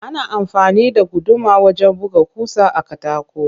Ana amfani da guduma wajen buga ƙusa a katako